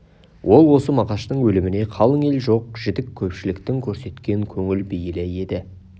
ол осы мағаштың өліміне қалың ел жоқ-жітік көпшіліктің көрсеткен көңіл бейілі еді